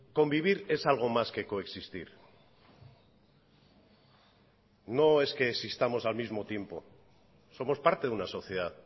convivir es algo más que coexistir no es que existamos al mismo tiempo somos parte de una sociedad